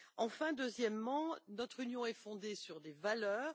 Enfin, deuxièmement, notre Union est fondée sur des valeurs.